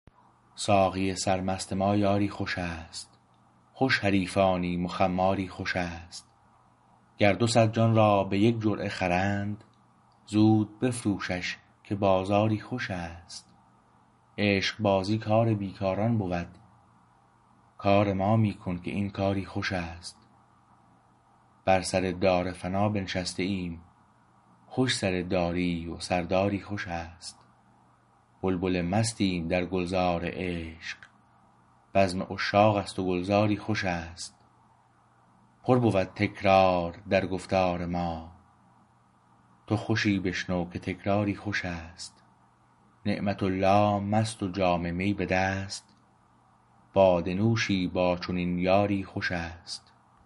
ساقی سرمست ما یاری خوش است خوش حریفانیم و خماری خوش است گر دوصد جان را به یک جرعه خرند زود بفروشش که بازاری خوش است عشقبازی کار بیکاران بود کار ما می کن که این کاری خوشست بر سر دار فنا بنشسته ایم خوش سر داری و سرداری خوشست بلبل مستیم در گلزار عشق بزم عشاق است و گلزاری خوشست پر بود تکرار در گفتار ما تو خوشی بشنو که تکراری خوشست نعمت الله مست و جام می به دست باده نوشی با چنین یاری خوشست